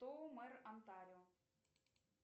кто мэр онтарио